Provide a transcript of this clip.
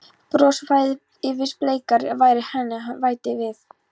Bros færðist yfir bleikar varir hennar þegar hún bætti við